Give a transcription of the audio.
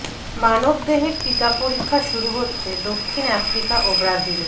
মানবদেহে টিকা পরীক্ষা শুরু হচ্ছে দক্ষিণ আফ্রিকা ও ব্রাজিলে